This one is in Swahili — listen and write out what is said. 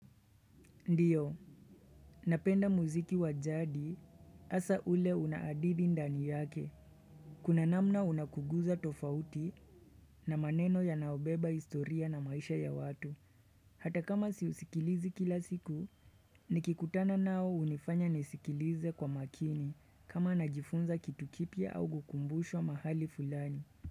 Ndiyo, napenda muziki wa jadi asa ule una adithi ndani yake. Kuna namna unakuguza tofauti na maneno yanaobeba historia na maisha ya watu. Hata kama siusikilizi kila siku, nikikutana nao unifanya nisikilize kwa makini kama najifunza kitu kipya au gukumbushwa mahali fulani.